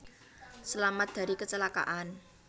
selamat dari kecelakaan